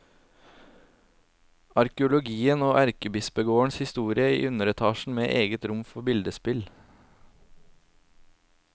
Arkeologien og erkebispegårdens historie i underetasjen, med et eget rom for billedspill.